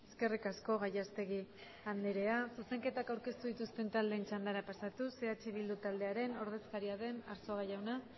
eskerrik asko gallastegui andrea zuzenketak aurkeztu dituzten taldeen txandara pasatuz eh bildu taldearen ordezkaria den arzuaga jauna